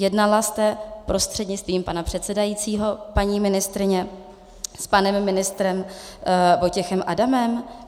Jednala jste, prostřednictvím pana předsedajícího paní ministryně, s panem ministrem Vojtěchem Adamem?